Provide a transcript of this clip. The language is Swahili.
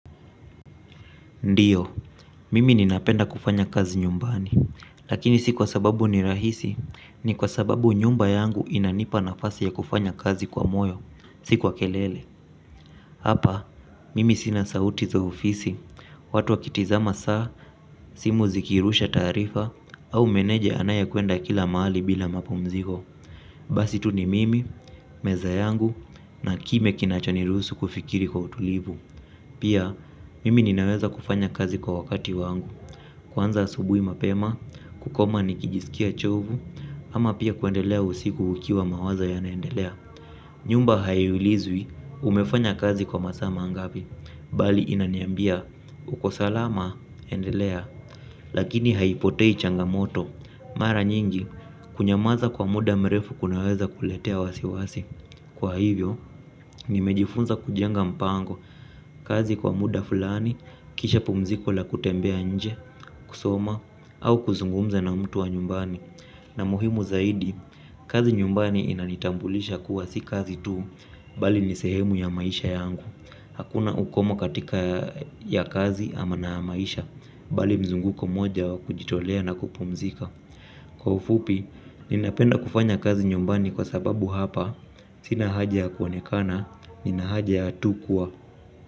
Ndiyo mimi ninapenda kazi nyumbani lakini si sababu ni rahisi ni kwa sababu nyumba yangu inanipa nafasi ya kufanya kazi kwa moyo si kwa kelele. Hapa, mimi sina sauti za ofisi, watu wakitizama saa, simu zikirusha taarifa, au meneja anayekwenda kila mahali bila mapumziko. Basi tu ni mimi, meza yangu na kimya kinachaniruhusu kufikiri kwa utulivu. Pia, mimi ninaweza kufanya kazi kwa wakati wangu. Kwanza asubuhi mapema, kukoma nikijisikia chovu. Ama pia kuendelea usiku ukiwa mawazo yanaendelea. Nyumba haiulizwi, umefanya kazi kwa masaa mangapi. Bali inaniambia, uko salama, endelea. Lakini haipotei changamoto. Mara nyingi, kunyamaza kwa muda mrefu kunaweza kuletea wasiwasi. Kwa hivyo, nimejifunza kujenga mpango. Kazi kwa muda fulani, kisha pumziko la kutembea nje, kusoma. Au kuzungumza na mtu wa nyumbani. Na muhimu zaidi, kazi nyumbani inanitambulisha kuwa si kazi tu. Bali ni sehemu ya maisha yangu. Hakuna ukomo katika ya kazi ama na maisha. Bali mzunguko mmoja wa kujitolea na kupumzika. Kwa ufupi, ninapenda kufanya kazi nyumbani kwa sababu hapa, sina haja ya kuonekana, nina haja ya tu kuwa.